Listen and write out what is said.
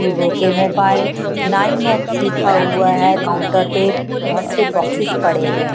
Vivo के mobile nine X लिखा हुआ है काउंटर पे बहुत से बॉक्सेस पड़े हुए हैं।